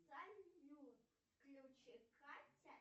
салют включи катя